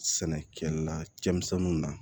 Sɛnɛkɛla cɛmisɛnnu na